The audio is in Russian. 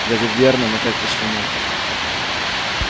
дядя вернон опять кашлянул